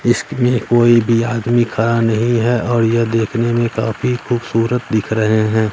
इश्क में कोई भी आदमी खरा नहीं है और यह देखने में काफी खूबसूरत दिख रहे हैं।